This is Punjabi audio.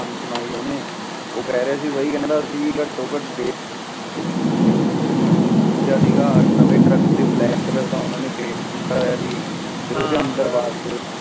ਗੱਲ ਸੁਣਾਈ ਓਹਨੇ ਉਹ ਕਹਿ ਰਿਹਾ ਸੀ ਬਾਈ ਅਸੀਂ ਘਟੋ ਘਟ ਸੀਗਾ ਨਵੇਂ ਟਰੱਕ ਉਤੇ ਓਹਨੇ ਬ੍ਲੈਕ ਰੰਗ ਦਾ ਪੁਆਇੰਟ ਕੀਤਾ ਹੋਇਆ ਸ ਓਹਦੇ ਅੰਦਰ ਬਾਹਰ